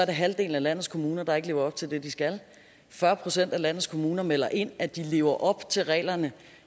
er halvdelen af landets kommuner der ikke lever op til det de skal og fyrre procent af landets kommuner melder ind at de lever op til reglerne